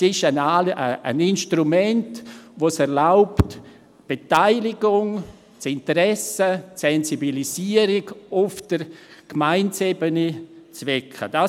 Es ist ein Instrument, welches die Beteiligung, das Interesse und die Sensibilisierung auf Gemeindeebene zu wecken erlaubt.